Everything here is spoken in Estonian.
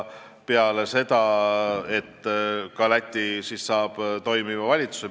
Loodetavasti Läti saab nii ka toimiva valitsuse.